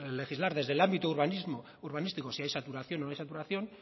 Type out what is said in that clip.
legislar desde el ámbito urbanístico si hay saturación o no hay saturación